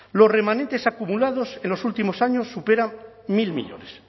los remanentes acumulados en los últimos años superan mil millónes